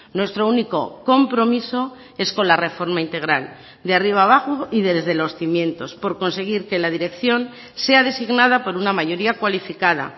nuestro único compromiso es con la reforma integral de arriba a abajo y desde los cimientos por conseguir que la dirección sea designada por una mayoría cualificada